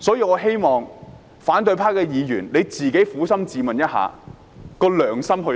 我希望反對派議員撫心自問，自己的良心去了哪裏。